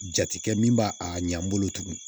Jatekɛ min b'a a ɲɛ n bolo tuguni